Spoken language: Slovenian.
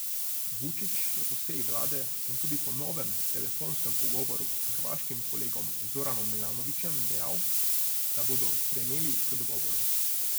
Vučić je po seji vlade in tudi po novem telefonskem pogovoru s hrvaškim kolegom Zoranom Milanovićem dejal, da bodo stremeli k dogovoru.